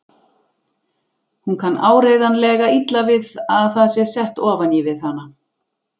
Hún kann áreiðanlega illa við að það sé sett ofan í við hana.